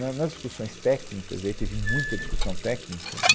Na, nas discussões técnicas, e aí teve muita discussão técnica, né